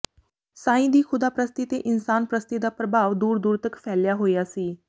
ਸਾਈਂ ਦੀ ਖ਼ੁਦਾ ਪ੍ਰਸਤੀ ਤੇ ਇਨਸਾਨ ਪ੍ਰਸਤੀ ਦਾ ਪ੍ਰਭਾਵ ਦੂਰ ਦੂਰ ਤਕ ਫੈਲਿਆ ਹੋਇਆ ਸੀ